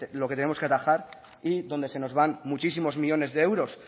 lo que tenemos que atajar y donde se nos van muchísimos millónes de euros